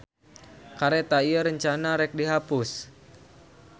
Kareta ieu rencanana rek dihapus.